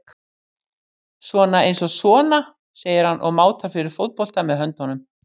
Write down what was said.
Svona eins og sona, segir hann og mátar fyrir fótbolta með höndunum.